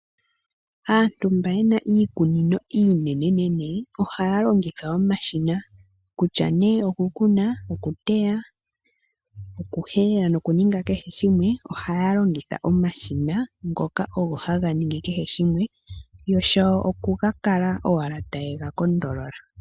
Aantu mba yena iikunino iinenenene, ohaya longitha omashina. Kutya nee okukuna, okuteya, okuhelela nokuninga kehe shimwe, ohaya longitha omashina ngoka ogo haga ningi kehe shimwe, yo shawo okukala owala tayega kondolola.